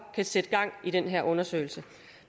kan sætte gang i den her undersøgelse